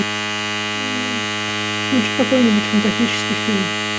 включи какой нибудь фантастический фильм